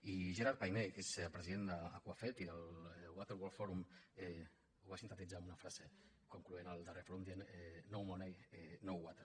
i gerard payen que és president d’aquafed i del water world forum ho va sintetitzar amb una frase concloent el darrer fòrum dient no money no water